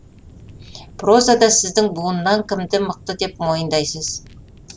прозада сіздің буыннан кімді мықты деп мойындайсыз